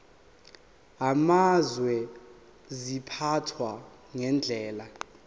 amazwe ziphathwa ngendlela